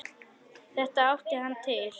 Þetta átti hann til.